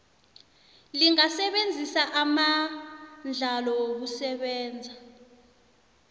lingasebenzisa amandlalo wokusebenza